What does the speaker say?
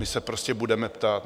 My se prostě budeme ptát.